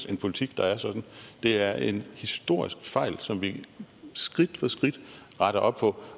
en politik der er sådan det er en historisk fejl som vi skridt for skridt retter op på